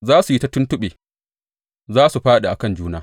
Za su yi ta tuntuɓe; za su fāɗi akan juna.